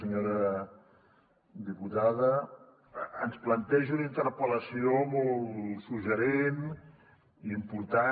senyora diputada ens planteja una interpel·lació molt suggeridora i important